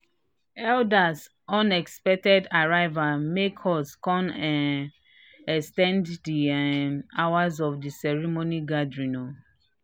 elders unexpected arrival make us kan um ex ten ded the um hours of the ceremony gathering um